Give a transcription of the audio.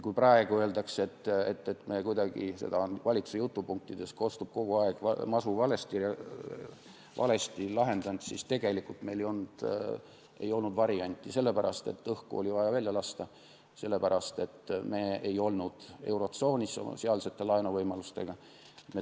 Kui praegu öeldakse, et me seda masu – valitsuse jutupunktides kostab see kogu aeg – kuidagi valesti lahendasime, siis tegelikult ei olnud meil teist varianti, sest õhku oli vaja välja lasta, me ei olnud eurotsoonis ja meil ei olnud sealseid laenuvõimalusi.